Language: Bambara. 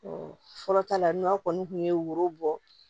fɔlɔta la n'aw kɔni tun ye woro bɔ